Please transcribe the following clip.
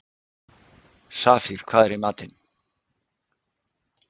Safír, hvað er í matinn?